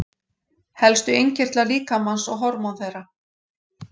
Helstu innkirtlar líkamans og hormón þeirra.